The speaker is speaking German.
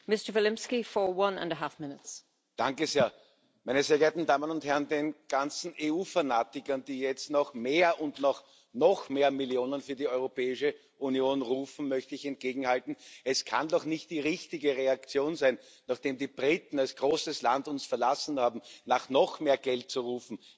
Frau Präsidentin, meine sehr geehrten Damen und Herren! Den ganzen EU Fanatikern, die jetzt nach mehr und nach noch mehr Millionen für die Europäische Union rufen, möchte ich entgegenhalten Es kann doch nicht die richtige Reaktion sein, nachdem uns die Briten als großes Land verlassen haben, nach noch mehr Geld zu rufen.